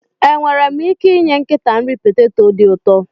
Enwere m ike inye nkịta nri poteto dị ụtọ